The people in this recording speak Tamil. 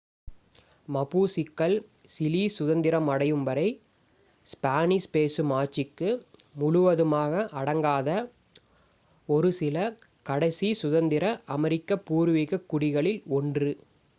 மபூசிக்கள் சிலி சுதந்திரம் அடையும் வரை ஸ்பானிஷ் பேசும் ஆட்சிக்கு முழுவதுமாக அடங்காத ஒரு 1 சில கடைசி சுதந்திர அமெரிக்க பூர்வீகக் குடிகளில் ஒன்று